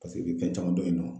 Paseke olu ka can dɔɔnin.